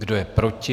Kdo je proti?